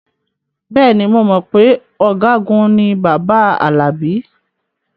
Bẹ́ẹ̀ ni, mo mọ̀ pé ọ̀gágun ni bàbá Alabi